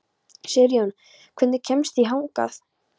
Sigurjón, hvernig kemst ég þangað?